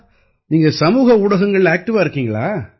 நீங்க சமூக ஊடகங்கள்ல ஆக்டிவா இருக்கீங்களா